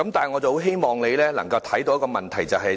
我很希望你能明白問題所在。